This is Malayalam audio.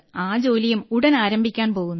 ആ ജോലിയും ഉടൻ ആരംഭിക്കാൻ പോകുന്നു